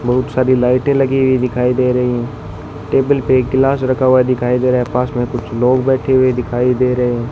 बहुत सारी लाइटे लगी हुई दिखाई दे रही हैं टेबल पे एक गिलास रखा हुआ दिखाई दे रहा है पास में कुछ लोग बैठे हुए दिखाई दे रहें --